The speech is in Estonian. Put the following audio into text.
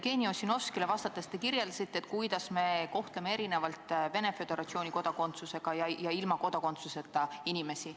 Jevgeni Ossinovskile vastates te kirjeldasite, kuidas me kohtleme erinevalt Venemaa Föderatsiooni kodakondsusega ja ilma kodakondsuseta inimesi.